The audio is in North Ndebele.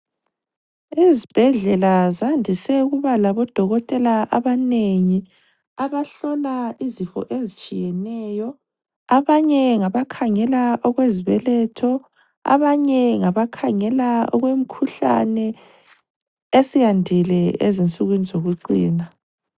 Izibhedlela zandise ukuba labodokotela abanengi abahlola izifo ezitshiyeneyo, abanye ngabakhangela okwezibeletho abanye ngabakhangela okwemkhuhlane esiyandile ezinsukwini zokucina.